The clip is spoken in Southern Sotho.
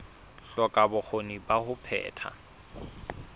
hloka bokgoni ba ho phetha